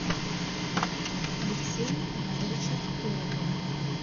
алексея ивановича торопова